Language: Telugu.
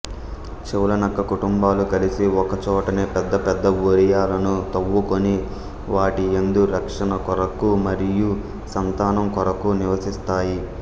చెవులనక్క కుటుంబాలు కలిసి ఒకచోటనే పెద్దపెద్ద బొరియలను తవ్వుకొని వాటియందు రక్షణకొఱకు మఱియు సంతానంకొఱకు నివసిస్తాయి